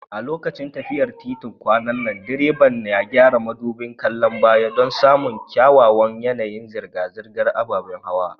A lokacin tafiyar titin kwanan nan, direban ya gyara madubin kallon baya don samun kyakkyawan yanayin zirga-zirgar ababen hawa.